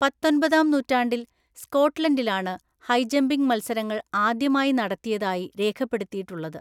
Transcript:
പത്തൊന്‍പതാം നൂറ്റാണ്ടിൽ സ്‌കോട്ട്‌ലൻഡിലാണ് ഹൈജമ്പിംഗ് മത്സരങ്ങൾ ആദ്യമായി നടത്തിയതായി രേഖപ്പെടുത്തിയിട്ടുള്ളത്.